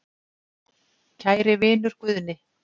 Kæri vinur Guðni